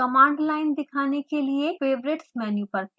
command line दिखाने के लिए favorites मेनू पर क्लिक करें